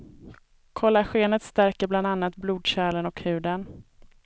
Kollagenet stärker bland annat blodkärlen och huden.